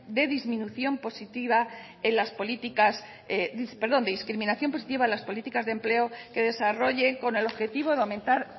de discriminación positiva en las políticas de empleo que desarrollen con el objetivo de aumentar